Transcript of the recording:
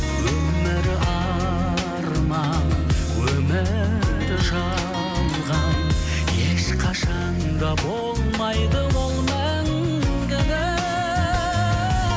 өмір арман өмір жалған ешқашан да болмайды ол мәңгілік